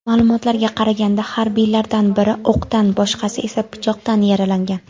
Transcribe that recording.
Ma’lumotlarga qaraganda, harbiylardan biri o‘qdan, boshqasi esa pichoqdan yaralangan.